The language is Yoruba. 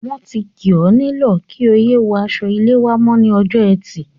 Wọ́n ti kì ọ́ nílọ̀ kí o yé wọ aṣọ-ilé wá mọ́ ní ọjọ́ Ẹtì.